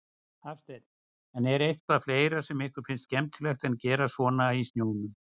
Hafsteinn: En er eitthvað fleira sem ykkur finnst skemmtilegt að gera svona í snjónum?